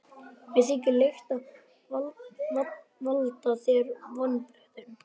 Mér þykir leitt að valda þér vonbrigðum.